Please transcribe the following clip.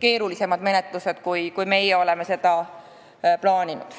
keerulisemad menetlused, kui meie oleme plaaninud.